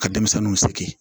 Ka denmisɛnninw sigi